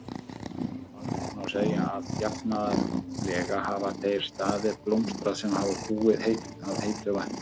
Almennt má segja að jafnaðarlega hafa þeir staðir blómstrað sem hafa búið að heitu vatni.